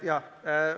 Aitäh!